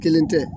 Kelen tɛ